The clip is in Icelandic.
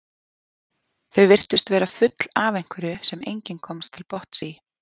Þau virtust vera full af einhverju sem enginn komst til botns í.